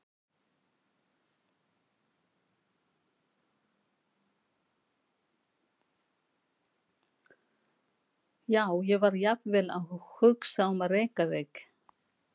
Já, ég var jafnvel að hugsa um að reka þig.